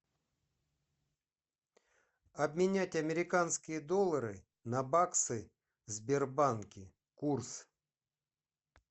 обменять американские доллары на баксы в сбербанке курс